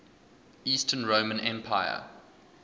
eastern roman empire